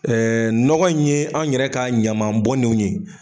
nɔgɔ in ye anw yɛrɛ ka ɲaman bɔnnenw ye